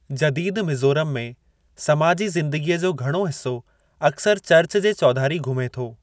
जदीदु मीज़ोराम में, समाजी ज़िंदगीअ जो घणो हिसो अक्सरि चर्च जे चौधारी घुमे थो।